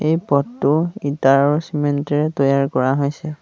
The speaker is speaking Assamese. এই পথটো ইটা আৰু চিমেণ্ট এৰে তৈয়াৰ কৰা হৈছে।